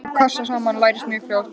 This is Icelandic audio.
Hvað passar saman lærist mjög fljótt.